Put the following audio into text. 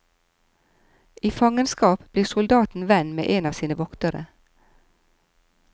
I fangenskap blir soldaten venn med en av sine voktere.